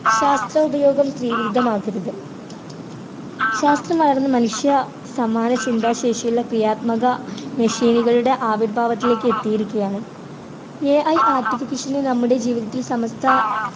ശാസ്ത്ര ഉപയോഗം സ്ത്രീവിരുദ്ധമാക്കരുത് ശാസ്ത്രം വളർന്നു മനുഷ്യ സമാന ചിന്താശേഷിയുള്ള ക്രിയാത്മക machine കളുടെ ആവിർഭാവത്തിലേക്ക് എത്തിയിരിക്കുകയാണ് AIartification നമ്മുടെ ജീവിതത്തിൽ സമസ്ത